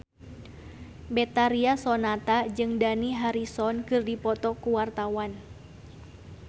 Betharia Sonata jeung Dani Harrison keur dipoto ku wartawan